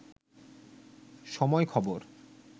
সময় খবর